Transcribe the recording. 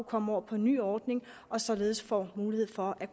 komme over på den nye ordning og således får mulighed for at